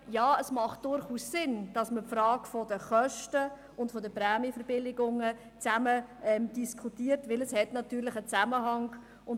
Ja, es macht durchaus Sinn, dass man die Frage der Kosten und der Prämienverbilligungen zusammen diskutiert, weil diese natürlich einen Zusammenhang haben.